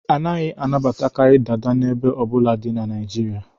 A naghị anabatakarị Dada n'ebo ọ bụla dị na Nigeria